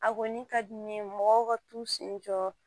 A kɔni ka di n ye mɔgɔw ka t'u sen jɔ